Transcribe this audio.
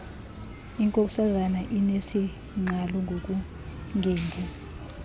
inkosazana inesingqala ngokungendi